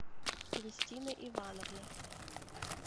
кристина ивановна